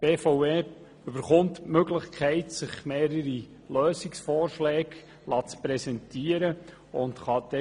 Die BVE erhält die Möglichkeit, sich mehrere Lösungsvorschläge präsentieren zu lassen.